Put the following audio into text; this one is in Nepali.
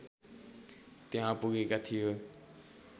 त्यहाँ पुगेका थिए